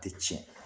Tɛ tiɲɛ